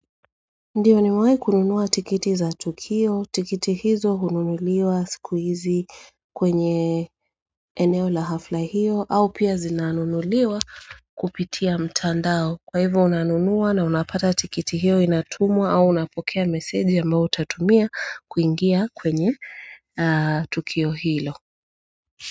Ndiyo nimewai kununuwa tikiti za Tukio, tikiti hizo ununuliwa siku hizi kwenye eneo la hafla hiyo au pia zinanunuliwa kupitia mtandao kwa hivyo unanunua na unapata tikiti hiyo inatumwa au unapokea message ambayo utatumia kuingia kwenye Tukio hilo.